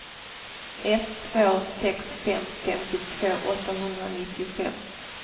ett två sex fem femtiotvå åttahundranittiofem